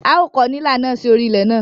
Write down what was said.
À ó kọ̀ nílà náà sí orí ilẹ̀ ná.